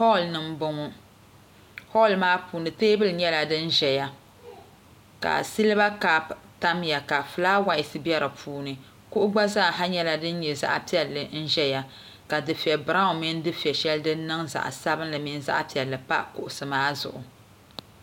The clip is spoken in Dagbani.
Holl ni n boŋɔ holl maa puuni teebuli nyɛla din ʒɛya ka silba kaap tamya ka fulaawaasi bɛ di puuni kuɣu gba nyɛla din nyɛ zaɣ piɛlli ʒɛya ka dufɛ brown mini din nyɛ zaɣ piɛlli pa kuɣusi maa zuɣu